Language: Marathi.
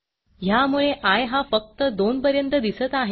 ह्यामुळे आय हा फक्त 2 पर्यंत दिसत आहे